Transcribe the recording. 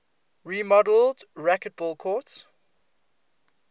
remodeled racquetball courts